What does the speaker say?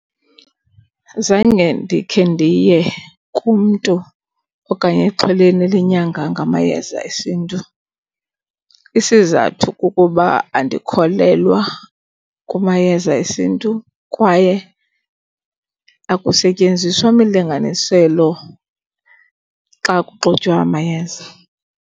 Zange ndikhe ndiye kumntu okanye exhweleni elinyanga ngamayeza esiNtu. Isizathu kukuba andikholelwa kumayeza esiNtu kwaye akusetyenziswa mlinganiselo xa kuxutywa amayeza.